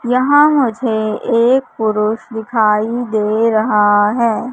यहां मुझे एक पुरुष दिखाई दे रहा है।